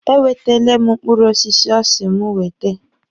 E wetele m mkpụrụ osisi ọ sị mụ wete.